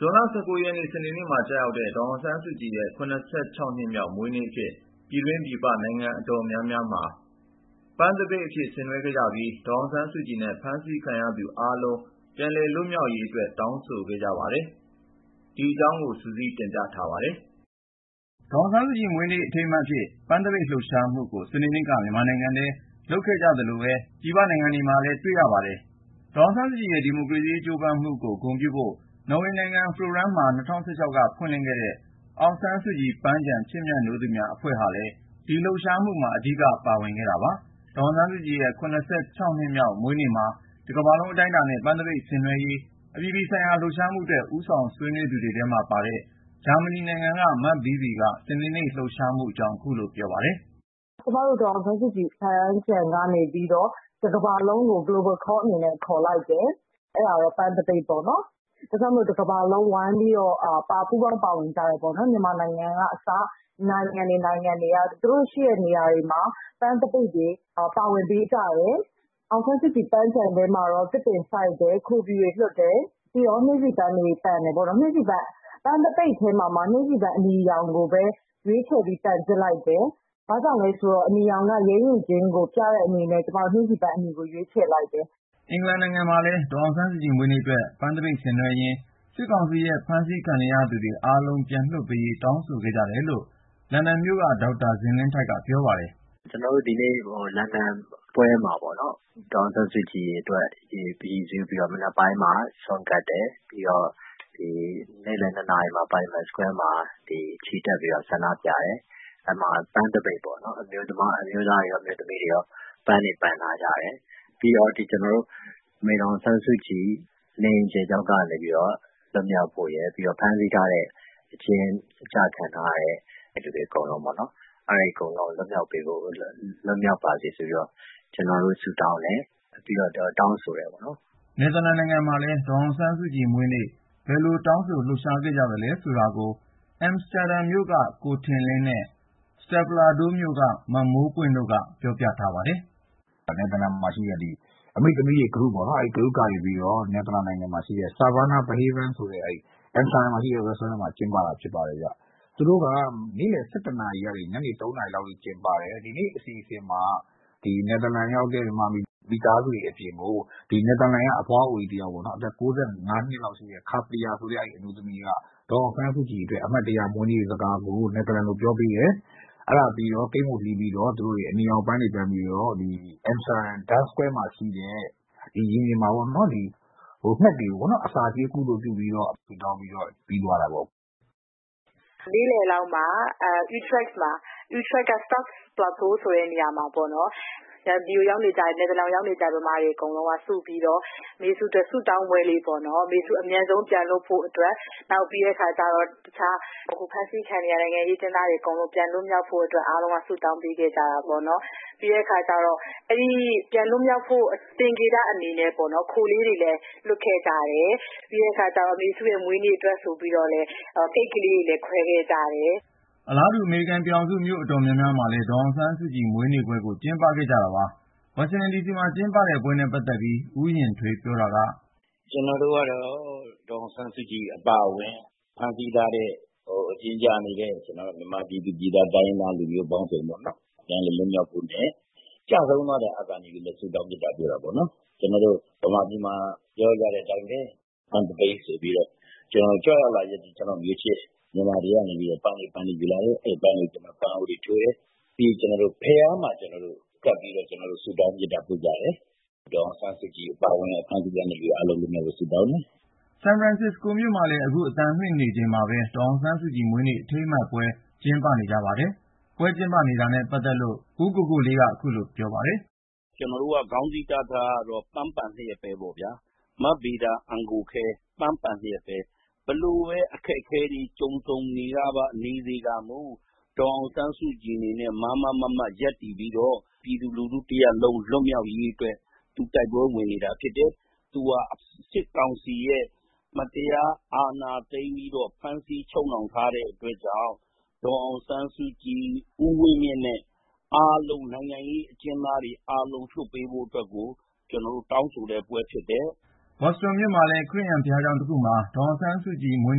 ဇွန်လ ၁၉ ရက် စနေနေ့မှာ ကျရောက်တဲ့ ဒေါ်အောင်ဆန်းစုကြည်ရဲ့ ၇၆ နှစ်မြောက် မွေးနေ့အဖြစ် ပြည်တွင်း ပြည်ပ နိုင်ငံအတော်များများမှာ ပန်းသပိတ် ဆင်နွှဲခဲ့ကြပြီး ဒေါ်အောင်ဆန်းစုကြည်နဲ့ ဖမ်းဆီးခံနေရသူ အားလုံး ပြန်လည်လွတ်မြောက်ရေးအတွက် တောင်းဆိုခဲ့ကြပါတယ်။ ဒီအကြောင်း ကိုဉာဏ်ဝင်းအောင်က စုစည်းတင်ပြထားပါတယ်။ ဒေါ်အောင်ဆန်းစုကြည်ရဲ့ ဒီမိုကရေစီရေး ကြိုးပမ်းလှုပ်ရှားမှုကို ဂုဏ်ပြုဖို့ နော်ဝေနိုင်ငံ Froland မှာ ၂၀၁၆ က ဖွင့်လှစ်ခဲ့တဲ့ Aung San Suu Kyi Park ပန်းခြံချစ်မြတ်နိုးသူများအဖွဲ့က ဦးစီးပြီး ဇွန်လ ၁၉ ရက်နေ့ ဒေါ်အောင်ဆန်းစုကြည်ရဲ့ ၇၆ နှစ်မြောက် မွေးနေ့မှာ တကမ္ဘာလုံး အတိုင်းအတာနဲ့ ပန်းသပိတ်ဆင်နွှဲဖို့ လှုံ့ဆော်ခဲ့ကြတာပါ။ ဒီလို အပြည်ပြည်ဆိုင်ရာ လှုပ်ရှားမှုအတွက် ဦးဆောင်ဆွေးနွေးသူတွေထဲမှာပါတဲ့ ဂျာမနီနိုင်ငံက မဘီးဘီက စနေနေ့ လှုပ်ရှားမှုအကြောင်း ခုလိုပြောပါတယ်။ “ကျမတို့ ဒေါ်အောင်ဆန်းစုကြည် ပန်းခြံအဖွဲ့ကနေပြီးတော့ ကမ္ဘာလုံးဆိုင်ရာ လှုပ်ရှားမှုအနေနဲ့ Global Call ခေါ်လိုက်တယ်။ အဲဒါက ပန်းသပိတ်ပေါ့။ ဒါကြောင့် တကမ္ဘာလုံးဝိုင်းပြီးတော့ ပူးပေါင်းပါဝင်ကြတယ်။ မြန်မာနိုင်ငံကအစ နိုင်ငံတွေ နိုင်ငံတွေက သူတို့ရှိတဲ့နေရာတွေမှာ ပန်းသပိတ်တွေ ပါဝင်ပေးကြတယ်။ ဒေါ်အောင်ဆန်းစုကြည်ပန်းခြံထဲမှာတော့ သစ်ပင်စိုက်တယ်။ ခိုဖြူတွေလွှတ်တယ်။ ပြီးတော့ နှင်းဆီပန်းတွေ ပန်တယ်။ ပန်းသပိတ်ထဲမှာမှ နှင်းဆီပန်း အနီရောင်ကိုပဲ ရွေးချယ်ပြီး ပန်ကြတယ်။ ဘာကြောင့်လဲဆိုတော့ အနီရောင်က ရဲရင့်ခြင်းကို ပြတဲ့အနေနဲ့ ကျမ နှင်းဆီပန်းအနီကို ရွေးချယ်လိုက်တယ်။” အင်္ဂလန်နိုင်ငံမှာလည်း ဒေါ်အောင်ဆန်းစုကြည် မွေးနေ့အတွက် ပန်းသပိတ်ဆင်နွှဲရင်း စစ်ကောင်စီရဲ့ ဖမ်းဆီးခံနေရသူ အားလုံး ပြန်လွှတ်ပေးရေး တောင်းဆိုခဲ့ကြတယ်လို့ လန်ဒန်မြို့က ဒေါက်တာဇင်လင်းထိုက်က ပြောပါတယ်။ “ကျနော်တို့ ဒီနေ့ လန်ဒန်ပွဲမှာ ဒေါ်အောင်ဆန်းစုကြည်အတွက် ရည်စူးပြီးတော့ မနက်ပိုင်းမှာ ဆွမ်းကပ်တယ်။ ပြီးတော့ နေ့လယ် ၂ နာရီမှာ ပါလီမန်ရင်ပြင်မှာ ချီတက်ပြီးတော့ ဆန္ဒပြတယ်။ အဲဒီမှာ ပန်းသပိတ်ပေါ့၊ အမျိုးသားတွေရော အမျိုးသမီးတွေရော ပန်းတွေ ပန်ထားကြတယ်။ ပြီးတော့ အမေ ဒေါ်အောင်ဆန်းစုကြည် နေအိမ်အကျယ်ချုပ်က လွတ်မြောက်ဖို့ရယ်၊ ဖမ်းဆီးထားတဲ့ အကျဉ်းချခံထားရတဲ့သူတွေ အကုန်လုံး လွတ်မြောက်ပါစေဆိုပြီး ဆုတောင်းတယ်။ ပြီးတော့ တောင်းဆိုတယ်။” နယ်သာလန်နိုင်ငံမှာလည်း ဒေါ်အောင်ဆန်းစုကြည်မွေးနေ့ပွဲ ဘယ်လို တောင်းဆို လှုပ်ရှားခဲ့ကြသလဲ ဆိုတာကို အမ်စတာဒမ်မြို့က ကိုထင်လင်းနဲ့ စတက်ပလာဒိုးမြို့က မမိုးပွင့်တို့က ပြောပြထားပါတယ်။ ကိုထင်လင်း - "နယ်သာလန်မှာရှိတဲ့ အမေ့သမီးတွေ Group ကနေပြီးတော့ နယ်သာလန် အမ်စတာဒမ်မှာရှိတဲ့ Saravanaa Bhavan ဆိုတဲ့ စားသောက်ဆိုင်မှာ ကျင်းပတာဖြစ်ပါတယ်ဗျ။ သူတို့က နေ့လယ် ၁၁ နာရီလောက်ကနေ ညနေ ၃ နာရီလောက်ထိ ကျင်းပတယ်။ နယ်သာလန်ရောက်နေတဲ့ မြန်မာမိသားစုတွေ အပြင်ကို နယ်သာလန်က အသက် ၉၅ နှစ်လောက်ရှိတဲ့ 'ခါပလီ' ဆိုတဲ့ အဘွားအိုက ဒေါ်အောင်ဆန်းစုကြည်အတွက် အမှတ်တရ မွေးနေ့စကားကို ဒတ်ချ်လို ပြောတယ်။ ပြီးတော့ ကိတ်မုန့်လှီးကြတယ်။ အနီရောင်ပန်းတွေ ပန်ပြီးတော့ အမ်စတာဒမ် ဒမ်းစကွဲယားရှိတဲ့ နန်းတော်ရှေ့ ရင်ပြင်မှာ ငှက်တွေကို အစာကျွေး ကုသိုလ်ပြု လုပ်ခဲ့ကြပါတယ်။" မမိုးပွင့် - "နေ့လယ်လောက်မှာ အယူးထရက်က စတော့ခ်-ပလာတိုး ဆိုတဲ့ နေရာမှာပေါ့နော်၊ နယ်သာလန်ရောက်နေကြတဲ့ ဗမာတွေ စုပြီးတော့ အမေစု အမြန်ဆုံး ပြန်လွတ်ဖို့အတွက် ဆုတောင်းပွဲလေးပေါ့။ နောက်ပြီးတော့ တခြား အဖမ်းဆီးခံနေရတဲ့ နိုင်ငံရေးအကျဉ်းသားတွေ အကုန်လုံး ပြန်လည်လွတ်မြောက်ဖို့အတွက် အားလုံးက ဆုတောင်းပေးခဲ့ကြတာပေါ့။ ပြီးတော့ အဲဒီလို ပြန်လွတ်မြောက်ဖို့ သင်္ကေတအနေနဲ့ ခိုလေးတွေလည်း လွှတ်ခဲ့ကြတယ်။ အမေစုရဲ့ မွေးနေ့အတွက်ဆိုပြီး ကိတ်မုန့်တွေလည်း ခွဲခဲ့ကြပါတယ်။" အလားတူ အမေရိကန်ပြည်ထောင်စု မြို့အတော်များများမှာလည်း ဒေါ်အောင်ဆန်းစုကြည် မွေးနေ့ပွဲကို ကျင်းပခဲ့ကြတာပါ။ ဝါရှင်ဒန်ဒီစီမှာ ကျင်းပခဲ့တဲ့ပွဲနဲ့ ပတ်သက်ပြီး ဦးယဉ်ထွေး ပြောတာက... “ကျနော်တို့ကတော့ ဒေါ်အောင်ဆန်းစုကြည် အပါအဝင် ဖမ်းဆီးထားတဲ့ အကျဉ်းကျနေတဲ့ မြန်မာပြည်သူပြည်သား တိုင်းရင်းသား လူမျိုးပေါင်းစုံပေါ့ ပြန်လွတ်မြောက်ဖို့နဲ့ ကျဆုံးသွားတဲ့ အာဇာနည်တွေအတွက် ဆုတောင်းမေတ္တာပို့တယ်။ ကျနော်တို့ မြန်မာပြည်မှာ ပြောကြတဲ့အတိုင်းပဲ ပန်းသပိတ်ဆိုပြီး ကြွရောက်လာတဲ့ မျိုးချစ် မြန်မာတွေက ပန်းတွေယူလာတယ်၊ အဲဒီပန်းတွေကို ပန်းအိုးတွေထိုးတယ်၊ ပြီးရင် ဘုရားမှာကပ်ပြီးတော့ ဆုတောင်းမေတ္တာပို့ကြတယ်။ ဒေါ်အောင်ဆန်းစုကြည် အပါအဝင် ဖမ်းဆီးခံထားရတဲ့လူတွေ အားလုံး လွတ်ြမောက်ရေး ဆုတောင်းတယ်။” ဆန်ဖရန်စစ္စကိုမြို့မှာလည်း အခု အသံလွှင့်နေချိန်မှာ ဒေါ်အောင်ဆန်းစုကြည်မွေးနေ့ အထိမ်းအမှတ်ပွဲ ကျင်းပနေကြပါတယ်။ ပွဲကျင်းပတာနဲ့ ပတ်သက်လို့ ဦးကိုကိုလေးက အခုလို ရှင်းပြပါတယ်။ “ကျနော်တို့ ခေါင်းစည်းတပ်ထားတာကတော့ ပန်းပန်လျက်ပဲပေါ့ဗျာ။ မဗေဒါ အံကိုခဲ ပန်းပန်လျက်ပဲ၊ ဘယ်လိုပဲ အခက်အခဲတွေ ကြုံဆုံနေစေကာမူ ဒေါ်အောင်ဆန်းစုကြည် အနေနဲ့ မားမားမတ်မတ် ရပ်တည်ပြီးတော့ ပြည်သူလူထုတရပ်လုံး လွတ်မြောက်ရေးအတွက် သူ တိုက်ပွဲဝင်နေတာ ဖြစ်တယ်။ သူဟာ စစ်ကောင်စီရဲ့ မတရား အာဏာသိမ်းပြီးတော့ ဖမ်းဆီးချုပ်နှောင်ထားတဲ့ အတွက်ကြောင့် ဒေါ်အောင်ဆန်းစုကြည်၊ ဦးဝင်းမြင့်နဲ့ နိုင်ငံရေးအကျဉ်းသားတွေ အားလုံး လွှတ်ပေးဖို့အတွက် ကျနော်တို့ တောင်းဆိုတဲ့ပွဲ ဖြစ်တယ်။” ဘော်စတွန်မြို့မှာလည်း ခရစ်ယာန်ဘုရားကျောင်းတခုမှာ ဒေါ်အောင်ဆန်းစုကြည် မွေး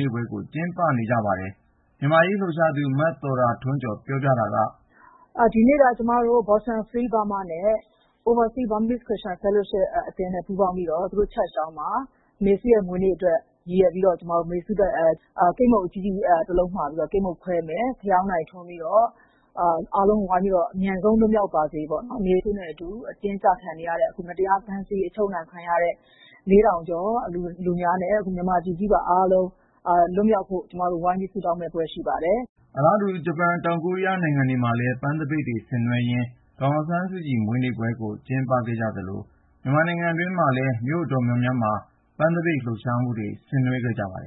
နေ့ကို ကျင်းပနေကြပါတယ်။ မြန်မာ့အရေးလှုပ်ရှားသူ မသော်တာထွန်းကျော် ပြောပြတာက... “ဒီနေ့က ကျမတို့ Boston Free Burma နဲ့ Oversea Burmese Christian Fellowship အသင်းနဲ့ ပူးပေါင်းပြီးတော့ သူတို့ရဲ့ ဘုရားကျောင်းမှာ အမေစုရဲ့မွေးနေ့အတွက် ရည်ရွယ်ပြီးတော့ ကိတ်မုန့်အကြီးကြီးတလုံး မှာပြီးတော့ ကိတ်မုန့်ခွဲမယ်။ ဖယောင်းတိုင်ထွန်းပြီးတော့ အားလုံး ဝိုင်းပြီးတော့ အမြန်ဆုံး လွတ်မြောက်ပါစေပေါ့၊ အမေစုနဲ့အတူ အကျဉ်းကျခံနေရတဲ့၊ မတရား ဖမ်းဆီးချုပ်နှောင် ခံထားရတဲ့ လူ ၄,၀၀၀ ကျော်နဲ့ မြန်မာပြည်ကြီးပါ အားလုံး လွတ်မြောက်ဖို့ ကျမတို့ ဝိုင်းပြီး ဆုတောင်းမယ့်ပွဲ ရှိပါတယ်။” အလားတူ ဂျပန်၊ တောင်ကိုရီးယား နိုင်ငံတွေမှာလည်း ပန်းသပိတ်တွေ ဆင်နွှဲရင်း ဒေါ်အောင်ဆန်းစုကြည် မွေးနေ့ပွဲကို ကျင်းပခဲ့ကြသလို မြန်မာနိုင်ငံတွင်းမှာလည်း မြို့တွေအတော်များများမှာ ပန်းသပိတ်လှုပ်ရှားမှုတွေ ဆင်နွှဲခဲ့ကြပါတယ်